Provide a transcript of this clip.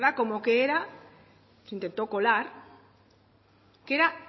como que era intentó colar que era